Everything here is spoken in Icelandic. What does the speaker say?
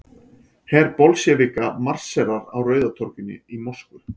Her Bolsévíka marserar á Rauða torginu í Moskvu.